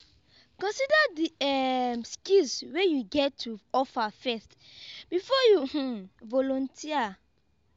consider di um skills wey you get to offer first before you um volunteer